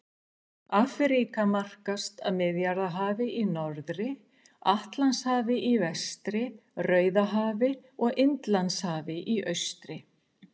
Afríka markast af Miðjarðarhafi í norðri, Atlantshafi í vestri, Rauðahafi og Indlandshafi í austri.